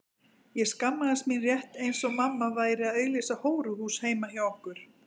Ég skammaðist mín rétt eins og mamma væri að auglýsa hóruhús heima hjá okkur.